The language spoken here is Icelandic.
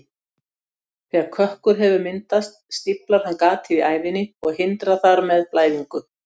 Þegar kökkur hefur myndast stíflar hann gatið í æðinni og hindrar þar með blæðingu.